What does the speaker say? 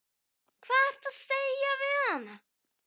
Hvað ertu að segja við hana?